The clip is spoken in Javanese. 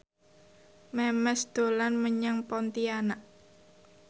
Memes dolan menyang Pontianak